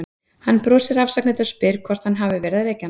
Hann brosir afsakandi og spyr hvort hann hafi verið að vekja hana.